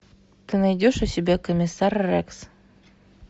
ты найдешь у себя комиссар рекс